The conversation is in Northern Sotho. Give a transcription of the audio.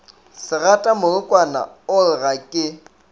segatamorokwana o re ga ke